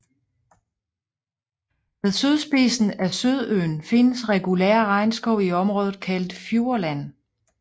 Ved sydspidsen af Sydøen findes regulær regnskov i området kaldet Fjordland